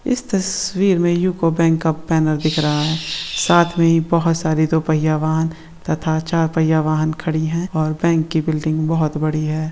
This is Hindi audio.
इस तस्वीर मे युको बँक का बैनर दिख रहा है साथ मे बहुत सारे दो पहिया वहान तथा चार पहिया वाहन खड़ी है और बँक बिल्डिंग बहुत बड़ी है।